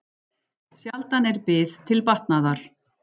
Sjaldan er bið til batnaðar.